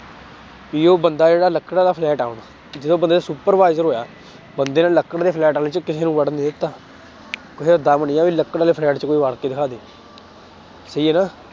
ਵੀ ਉਹ ਬੰਦਾ ਜਿਹੜਾ ਲੱਕੜਾ ਦਾ ਫਲੈਟ ਆ ਹੁਣ ਜਦੋਂ supervisor ਹੋਇਆ ਬੰਦੇ ਨੇ ਲੱਕੜ ਦੇ ਫਲੈਟ ਵਾਲੇ ਚ ਕਿਸੇ ਨੂੰ ਵੜਨ ਨੀ ਦਿੱਤਾ ਕਿਸੇ ਚ ਦਮ ਨੀ ਆ ਵੀ ਲੱਕੜ ਦੇ ਫਲੈਟ ਵਿੱਚ ਕੋਈ ਵੜ ਕੇ ਦਿਖਾ ਦੇ ਸਹੀ ਹੈ ਨਾ